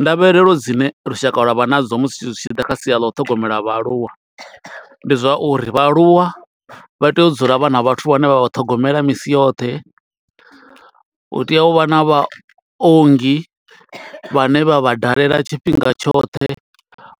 Ndavhelelo dzine lushaka lwa vha nadzo musi zwi tshi ḓa kha sia ḽa u ṱhogomela vhaaluwa. Ndi zwa uri vhaaluwa vha tea u dzula vhana vhathu vhane vha vha ṱhogomela misi yoṱhe. Hu tea u vha na vha ongi, vhane vha vha dalela tshifhinga tshoṱhe,